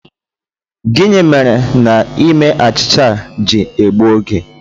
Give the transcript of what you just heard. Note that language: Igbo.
Gịnị mere na ime achịcha a ji egbu oge?